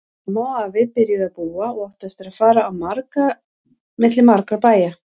Amma og afi byrjuðu að búa og áttu eftir að fara á milli margra bæja.